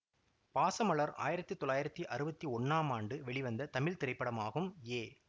பாசமலர் ஆயிரத்தி தொள்ளாயிரத்தி அறுவத்தி ஒன்னாம் ஆண்டு வெளிவந்த தமிழ் திரைப்படமாகும் ஏ